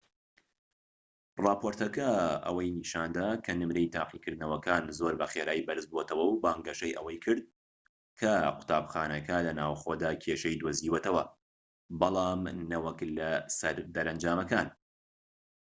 ڕاپۆرتەکە ئەوەی نیشاندا کە نمرەی تاقیکردنەوەکان زۆر بە خێرایی بەرز بۆتەوە و بانگەشەی ئەوەی کرد کە قوتابخانەکە لە ناوخۆدا کێشەی دۆزیوەتەوە بەڵام نەوەک لە سەر دەرەنجامەکان